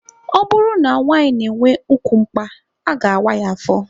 Ọ bụrụ na nwanyị na-enwe ukwu mkpa, a ga-awa ya afọ.